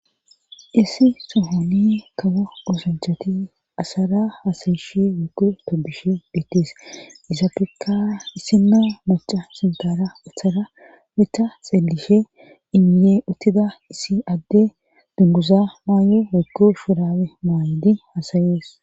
Issi sohoni kaba oosonchati asara hasayishe wekku tobishe beittees isapekka issino maca sinkara atharametta xeelishe inyee uttida issi adde dunguza maaye wekku firawe maaydi hasayees